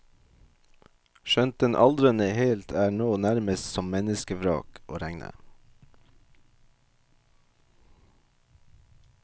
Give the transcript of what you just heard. Skjønt den aldrende helt er nå nærmest som menneskevrak å regne.